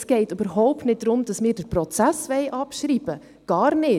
Es geht überhaupt nicht darum, dass wir den Prozess abschreiben wollen, überhaupt nicht.